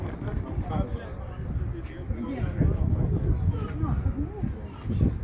Sağ olun, gələcək arzusunuz sizinlə qalsın.